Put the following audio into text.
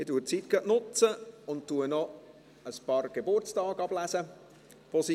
Ich nutze gleich die Zeit und lese ein paar vergangene Geburtstage vor.